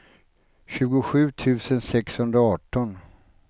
tjugosju tusen sexhundraarton